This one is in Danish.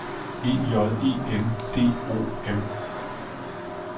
E J E N D O M